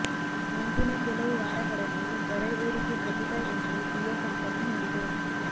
ಮುಂದಿನ ಕೆಲವು ವಾರಗಳಲ್ಲಿ ದರ ಏರಿಕೆ ಖಚಿತ ಎಂದು ಜಿಯೋ ಕಂಪನಿ ಹೇಳಿದೆ